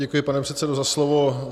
Děkuji, pane předsedo, za slovo.